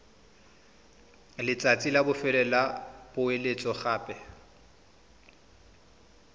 letsatsi la bofelo la poeletsogape